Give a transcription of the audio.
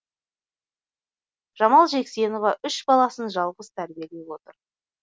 жамал жексенова үш баласын жалғыз тәрбиелеп отыр